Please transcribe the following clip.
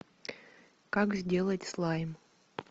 как сделать слайм